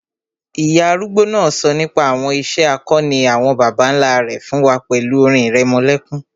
Ìyá arúgbó náà sọ nípa àwọn ìṣe akọni àwọn bàbá nlá rẹ̀ fún wa pẹ̀lú orin ìrẹmọlẹ́kún